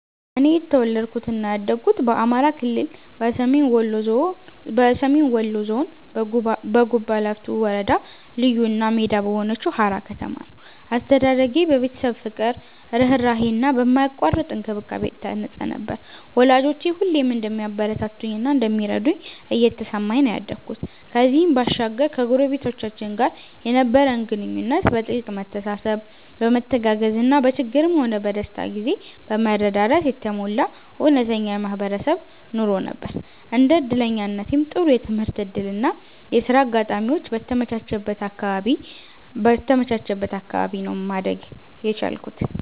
እኔ የተወለድኩት እና ያደኩት በአማራ ክልል፣ በሰሜን ወሎ ዞን፣ በጉባላፍቶ ወረዳ ልዩ እና ሜዳ በሆነችው ሃራ ከተማ ነው። አስተዳደጌ በቤተሰብ ፍቅር፣ ርህራሄ እና በማያቋርጥ እንክብካቤ የታነጸ ነበር፤ ወላጆቼ ሁሌም እንደሚያበረታቱኝ እና እንደሚረዱኝ እየተሰማኝ ነው ያደኩት። ከዚህም ባሻገር ከጎረቤቶቻችን ጋር የነበረን ግንኙነት በጥልቅ መተሳሰብ፣ በመተጋገዝ እና በችግርም ሆነ በደስታ ጊዜ በመረዳዳት የተሞላ እውነተኛ የማህበረሰብ ኑሮ ነበር። እንደ እድለኛነቴም ጥሩ የትምህርት እድል እና የሥራ አጋጣሚዎች በተመቻቸበት አካባቢ ነው ማደግ የቻልኩት።